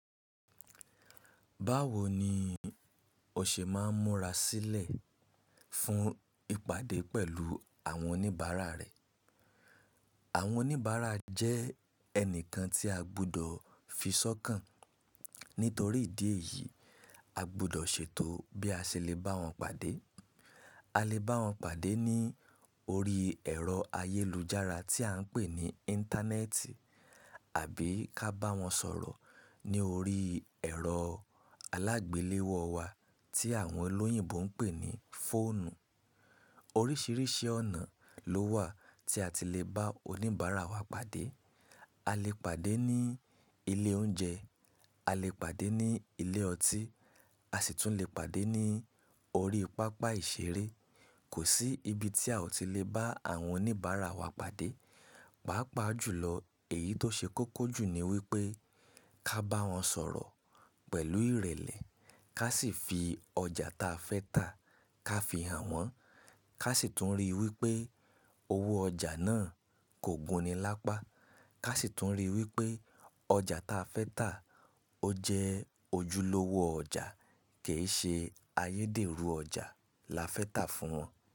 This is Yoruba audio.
Báwo ni o ṣé máa ń múra sílẹ̀ fún ìpàdé pẹ̀lú àwọn oníbàárà rẹ? Àwọn oníbàárà jẹ́ ẹnìkan tí a gbudọ fi sọ́kàn. Nítorí ìdí èyí, a gbudọ ṣètò bí a ṣe lè bá wọn pàdé. A A lè bá wọn pàdé ní orí ẹ̀rọ ayélujára tí à ń pè ní Íńtánẹ́ẹ̀tì àbí ká bá wọn sọ̀rọ̀ ní orí ẹ̀rọ alágbéléwọ wa tí àwọn olóyìnbo ń pè ní fóònù. Oríṣiríṣi ọ̀nà ló wà tí a ti lè bá oníbàárà wa pàdé. A lè pàdé ní ilé oúnjẹ, a lè pàdé ní ilé ọtí, a sì tún lè pàdé ní orí pápá ìṣeré. Kò sí ibi tí a ò ti lè bá àwọn oníbàárà wa pàdé. Pàápàá jù lọ èyí tó ṣé kókó jù ní wípé Ká bá wọn sọ̀rọ̀ pẹ̀lú ìrẹ̀lẹ̀, ká sì fi ọjà ta fẹ́ tà ká fi hàn wọ́n. Ká sì tún rí i wípé owó ọjà náà kò gùn nilápá. Ká sì tún rí i wípé Ọjà ta fẹ́ tà ó jẹ́ ojúlówó ọjà, kì í ṣe ayédèrú ọjà. Là fẹ́ tà fún wọn.